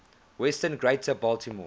western greater baltimore